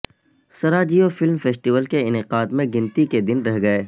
Sarajevo film festival کے انعقاد میں گنتی کے دن رہ گئے